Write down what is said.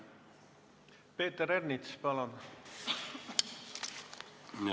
Peeter Ernits, palun!